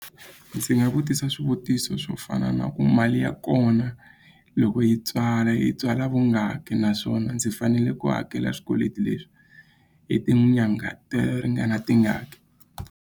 Ndzi nga vutisa swivutiso swo fana na ku mali ya kona loko yi tswala yi tswala vungaki naswona ndzi fanele ku hakela swikweleti leswi hi tinyangha to ringana tingaki.